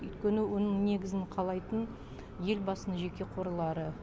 өйткені оның негізін қалайтын елбасының жеке қорлары